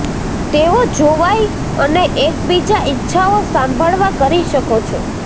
તેઓ જોવાઈ અને એકબીજા ઈચ્છાઓ સાંભળવા કરી શકો છો